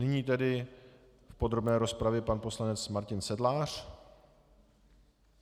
Nyní tedy v podrobné rozpravě pan poslanec Martin Sedlář.